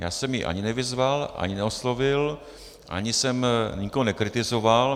Já jsem ji ani nevyzval, ani neoslovil, ani jsem nikoho nekritizoval.